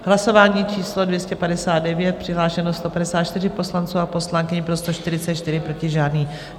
Hlasování číslo 259, přihlášeno 154 poslanců a poslankyň, pro 144, proti žádný.